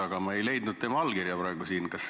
Aga ma ei leidnud tema allkirja praegu siin.